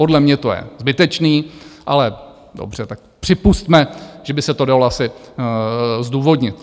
Podle mě to je zbytečné, ale dobře, tak připusťme, že by se to dalo asi zdůvodnit.